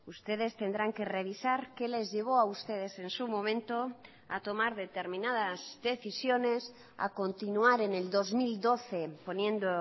ustedes tendrán que revisar qué les llevó a ustedes en su momento a tomar determinadas decisiones a continuar en el dos mil doce poniendo